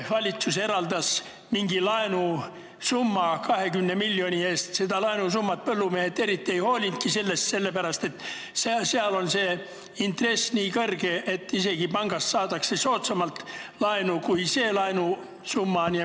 Valitsus eraldas laenusumma 20 miljoni ulatuses, aga sellest laenuvõimalusest põllumehed eriti ei hoolinud, sest intress on nii kõrge, et isegi pangast saadakse laenu soodsamalt.